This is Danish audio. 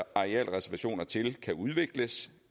arealreservationer til kan udvikles